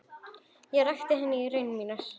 Ég rakti henni raunir mínar.